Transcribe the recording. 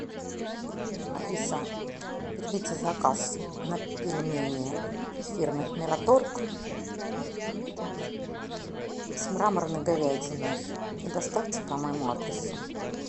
алиса примите заказ на пельмени фирмы мираторг с мраморной говядиной и доставьте по моему адресу